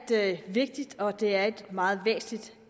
vigtigt og det er et meget væsentligt